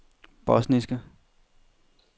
bosniske